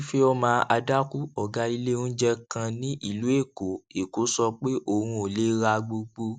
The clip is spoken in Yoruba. ifeoma adaku ògá ilé oúnjẹ kan ní ìlú èkó èkó sọ pé òun ò lè ra gbogbo